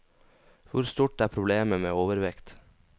Hvor stort er problemet med overvekt?